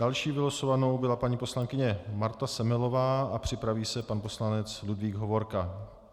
Další vylosovanou byla paní poslankyně Marta Semelová a připraví se pan poslanec Ludvík Hovorka.